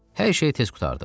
Hər şey tez qurtardı.